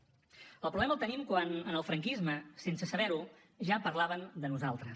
el problema el tenim quan en el franquisme sense saber ho ja parlaven de nosaltres